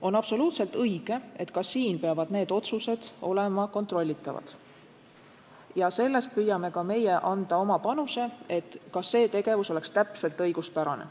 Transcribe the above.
On absoluutselt õige, et ka siis peavad need otsused olema kontrollitavad, ja ka meie püüame anda oma panuse, et seegi tegevus oleks täpselt õiguspärane.